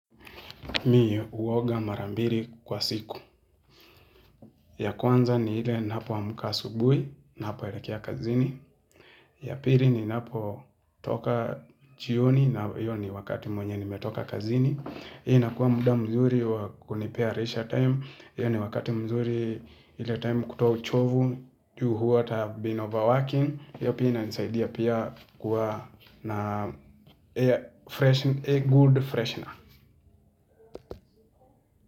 Mi huoga mara mbili kwa siku. Ya kwanza ni ile ninapoamka asubuhi napoelekea kazini. Ya pili ninapo toka jioni na hiyo ni wakati mwenye nimetoka kazini. Hii nakuwa muda mzuri wakunipea leisure time. Hii ni wakati mzuri ile time kutoa uchovu. Juu what I have been overworking. Hio pia inanisaidia pia kuwa na a good freshener.